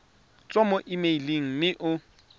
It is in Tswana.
tswa mo emeileng mme o